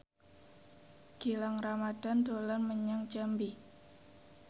Gilang Ramadan dolan menyang Jambi